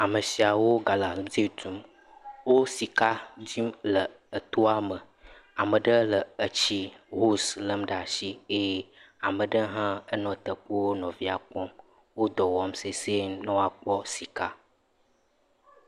Amesiawo galamsy tum, wo sika dzim le etoa me, ame ɖe le etsi hose lem ɖe asi eye ame ɖe hã nɔ teƒewo nɔ nɔevia kpɔm. wodɔ wɔm sesɛ̃e be ne woakpɔ sika.